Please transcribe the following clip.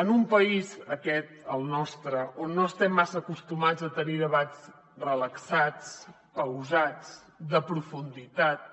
en un país aquest el nostre on no estem massa acostumats a tenir debats relaxats pausats de profunditat